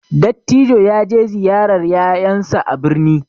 Dattijo ya je ziyarar ƴaƴan sa a birni